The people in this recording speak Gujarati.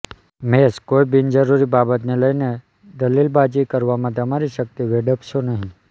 મેષ કોઈક બિનજરૂરી બાબતને લઈને દલીલબાજી કરવામાં તમારી શક્તિ વેડફશો નહીં